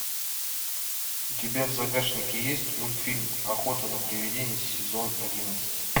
у тебя в загашнике есть мультфильм охота на приведений сезон одиннадцать